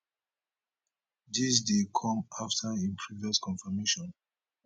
dis dey come afta im previous confirmation